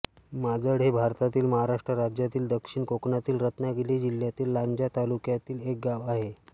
माजळ हे भारतातील महाराष्ट्र राज्यातील दक्षिण कोकणातील रत्नागिरी जिल्ह्यातील लांजा तालुक्यातील एक गाव आहे